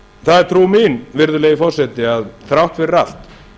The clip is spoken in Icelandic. það er trú mín virðulegi forseti að þrátt fyrir allt